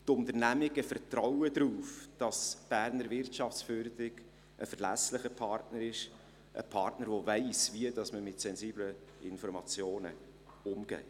Die Unternehmungen vertrauen darauf, dass die Berner Wirtschaftsförderung ein verlässlicher Partner ist, ein Partner, der weiss, wie man mit sensiblen Informationen umgeht.